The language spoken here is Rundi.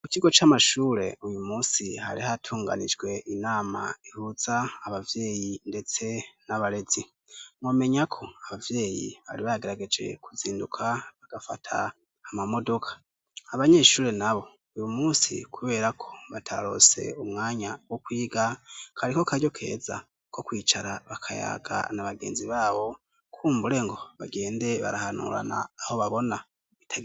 ku kigo c'amashure uyu munsi hari h atunganijwe inama ihuza abavyeyi ndetse n'abarezi nomenya ko abavyeyi bari bagerageje kuzinduka bagafata amamodoka abanyeshure nabo uyu munsi kubera ko batarose umwanya wo kwiga kari ko karyo keza ko kwicara bakayaga n'abagenzi babo kumbure ngo bagende barahanurana aho babona